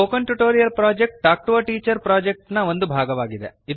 spoken tutorial project talk to a teacher project ನ ಒಂದು ಭಾಗ